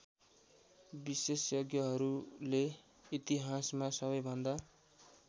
विशेषज्ञहरूले इतिहासमा सबैभन्दा